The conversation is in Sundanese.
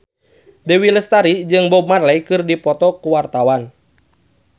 Dewi Lestari jeung Bob Marley keur dipoto ku wartawan